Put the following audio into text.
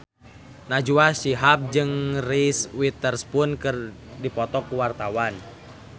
Najwa Shihab jeung Reese Witherspoon keur dipoto ku wartawan